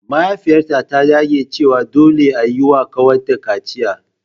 Mahaifiyata ta dage cewa dole a yi wa kanwata kaciya.